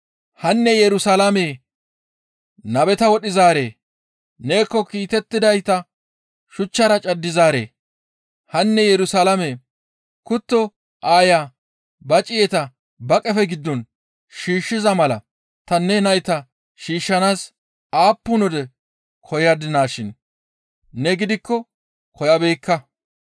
«Hanne Yerusalaamee! Nabeta wodhizaaree! Neekko kiitettidayta shuchchara caddizaaree! Hanne Yerusalaame, kutto aaya ba ciyeta ba qefe giddo shiishshiza mala ta ne nayta shiishshanaas aappun wode koyadinaashin ne gidikko koyabeekka.